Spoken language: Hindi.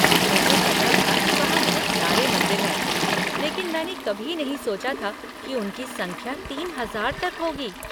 मुझे पता था कि वहाँ बहुत सारे मंदिर हैं लेकिन मैंने कभी नहीं सोचा था कि उनकी संख्या तीन हजार तक होगी।